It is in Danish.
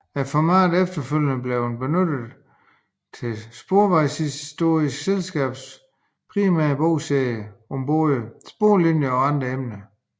Formatet er efterfølgende blevet benyttet til Sporvejshistorisk Selskabs primære bogserie om både sporvognslinjer og andre emner